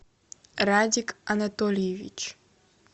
радик анатольевич